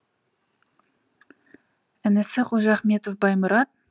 інісі қожахметов баймұрат